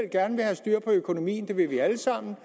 gerne vil have styr på økonomien det vil vi alle sammen